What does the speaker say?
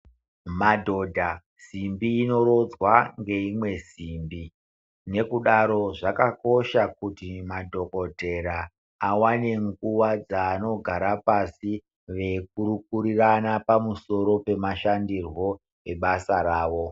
Madhodha, simbi inorodzwa ngeimwe simbi. Nekudaro zvakakosha kuti madhokodhera awane nguva dzaanogara pasi veikurukurirana pamusoro pemashandirwo ebasa ravo.